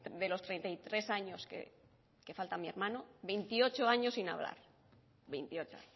de los treinta y tres años que falta mi hermano veintiocho años sin hablar veintiocho